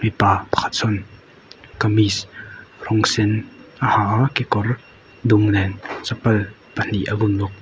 mipa pakhat chuan kamis rawng sen a ha a kekawr dum nen chapal pahnih a bun bawk.